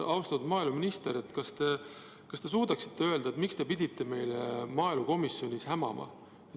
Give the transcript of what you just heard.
Austatud maaeluminister, kas te suudate öelda, miks te pidite meile maaelukomisjonis hämama?